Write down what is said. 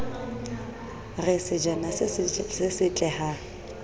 re sejana se setle ha